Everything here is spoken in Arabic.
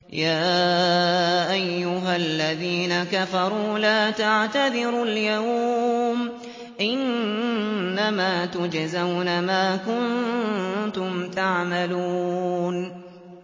يَا أَيُّهَا الَّذِينَ كَفَرُوا لَا تَعْتَذِرُوا الْيَوْمَ ۖ إِنَّمَا تُجْزَوْنَ مَا كُنتُمْ تَعْمَلُونَ